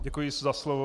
Děkuji za slovo.